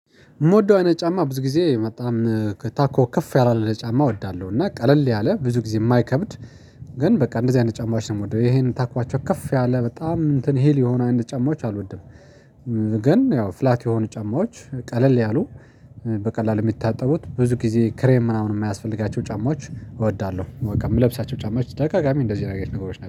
የምወደው አይነት ጫማ ብዙ ጊዜ በጣም ከታኮ ከፍ ያለ አይነት ጫማ እወዳለሁ እና ቀለል ያለ ብዙ ጊዜ የማይከብድ ግን በቃ እንደዚህ አይነት ጫማዎች ነው የምወደው ይሄን ታኮአቸው ከፍ ያለ በጣም እንትን ሂል የሆነ አይነት ጫማዎች አልወድም። ግን ያው ፍላት የሆኑ ጫማዎች ቀለል ያሉ በቀላሉ የሚታጠቡት ብዙ ጊዜ ክሬም ምናምን የማያስፈልጋቸው ጫማዎች እወዳለሁ። በቃ የምለብሳቸው ጫማዎች በተደጋጋሚ እንደዚህ አይነት ነገሮች ናቸው